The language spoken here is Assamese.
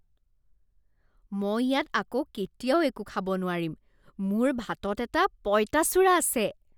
মই ইয়াত আকৌ কেতিয়াও একো খাব নোৱাৰিম, মোৰ ভাতত এটা পঁইতাচোৰা আছে।